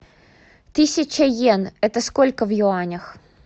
тысяча йен это сколько в юанях